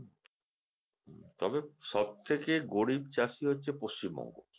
তবে সব থেকে গরিব চাষি হচ্ছে পশ্চিমবঙ্গ